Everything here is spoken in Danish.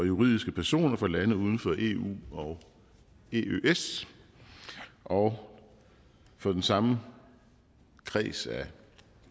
juridiske personer fra lande uden for eu og eøs og for den samme kreds af